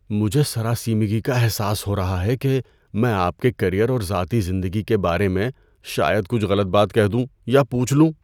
مجھے سراسیمگی کا احساس ہو رہا ہے کہ میں آپ کے کیریئر اور ذاتی زندگی کے بارے میں شاید کچھ غلط بات کہہ دوں یا پوچھ لوں۔